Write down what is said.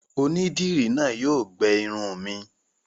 Onídìrí náà yóò gbẹ irun mi.